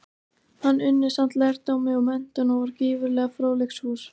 Hann unni samt lærdómi og menntun, og var gífurlega fróðleiksfús.